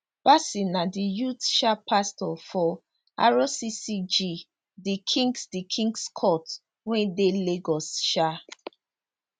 bassey na di youth um pastor for rccg the kings the kings court wey dey lagos um